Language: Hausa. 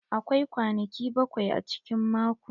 Akwai kwanaki bakwai a cikin mako.